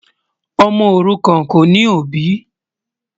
Ọmọ orúkán kò ní obì.